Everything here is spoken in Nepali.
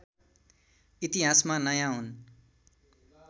इतिहासमा नयाँ हुन्